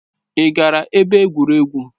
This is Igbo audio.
Ị gara ebe egwuregwu?